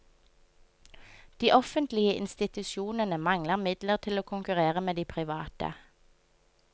De offentlige institusjonene mangler midler til å konkurrere med de private.